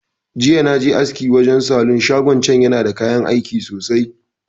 Jiya naje aski wajan salon shagon can, yana da kayan aiki sosai.